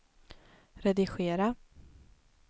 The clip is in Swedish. redigera